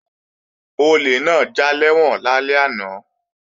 Olè náà já lẹ́wọ̀n lálẹ́ àná